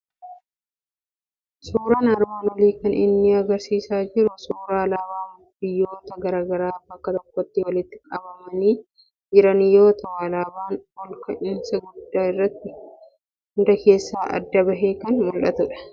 Suuraan armaan olii kan inni agarsiisaa jiru suuraa alaabaa biyyoota garaa garaa bakka tokkotti walitti qabamanii jiran yoo ta'u, alaabaan ol ka'iinsa guddaa irratti hunda keessaa adda bahee kan mul'atudha.